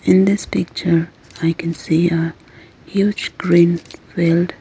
in this picture i can see a huge green field.